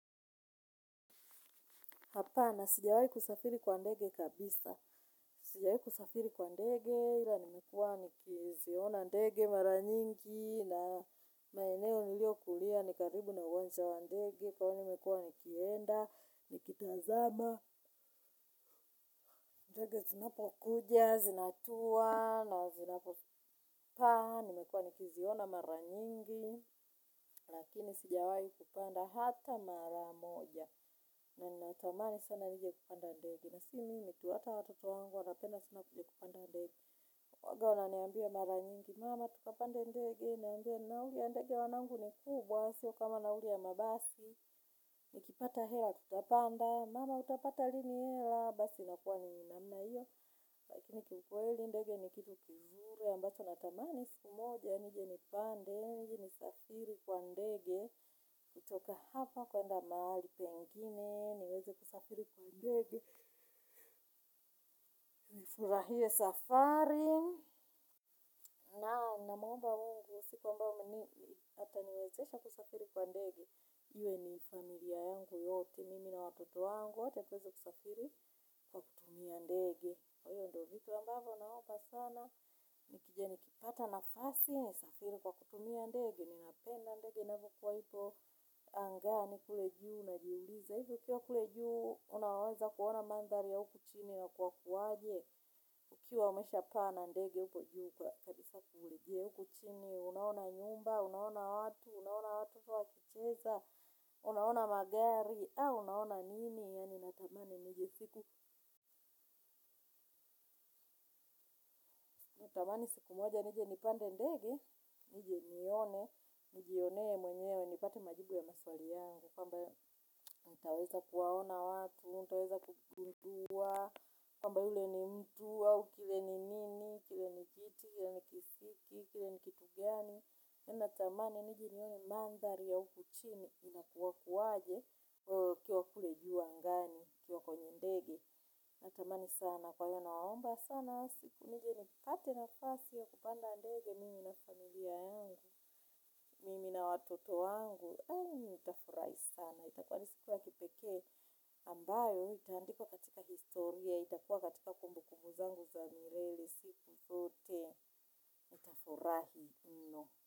Hapana sijawahi kusafiri kwa ndege kabisa. Sijawahi kusafiri kwa ndege ila nimekuwa nikiziona ndege mara nyingi na maeneo niliyokulia. Ni karibu na uwanja wa ndege kwa hio nimekuwa nikienda, nikitazama, ndege zinapokuja, zinatua na zinapopaa. Nimekuwa nikiziona mara nyingi lakini sijawahi kupanda hata mara moja. Na ninatamani sana nije kupanda ndege. Na sio mimi ni hata watoto wangu wanapenda sana kupanda ndege. Huwanga wananiambia mara nyingi. Mama tukapande ndege. Nawaambia nauli ya ndege wanangu ni kubwa. Sio kama nauli ya mabasi. Nikipata hela tutapanda. Mama utapata lini hela. Basi inakuwa ni namna hiyo. Lakini kiukweli ndege ni kitu kizuri. Ambacho natamani siku moja. Nije nipande. Nije nisafiri kwa ndege. Kutoka hapa kwenda mahali pengine. Niweze kusafiri kwa ndege. Nifurahie safari. Naam namwomba mungu siku ambao ataniwezesha kusafiri kwa ndege iwe ni familia yangu yote mimi na watoto wangu hata tuweze kusafiri kwa kutumia ndege kwa hivyo ndivyo vitu ambavyo naomba sana. Nikija nikipata nafasi nisafiri kwa kutumia ndege. Ninapenda ndege inavyokuwa ipo angani kule juu najiuliza hivyo ukiwa kule juu unaweza kuona mandhari ya huku chini na kuwa hukuwaje, ukiwa umeshapaa na ndege huko juu kwa kabisa kurejea huku chini, unaona nyumba, unaona watu, unaona watoto wakicheza, unaona magari, au unaona nini, yaani natamani nije siku, natamani siku moja, nije nipande ndege, nije nione, nijionee mwenyewe, nipate majibu ya maswali yangu, kwamba utaweza kuwaona watu, utaweza kugundua, kwamba ule ni mtu, au kile ni nini, kile ni kiti, kile ni kisiki, kile ni kitu gani. Natamani nije nione mandhari ya huku chini inakuwa kuwaje nikiuwa kule juu angani, nikiwa kwenye ndege. Natamani sana kwa hiyo nawaomba sana siku nije nipate nafasi ya kupanda ndege mimi na familia yangu, mimi na watoto yangu. Nitafurahi sana. Itakuwa ni siku ya kipekee ambayo. Itaandikuwa katika historia. Itakuwa katika kumbukumbu zangu za milele. Siku zote. Nitafurahi mno.